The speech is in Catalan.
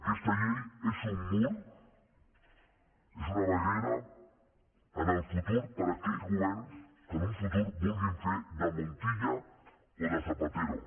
aquesta llei és un mur és una barrera en el futur per a aquells governs que en un futur vulguin fer de montilla o de zapatero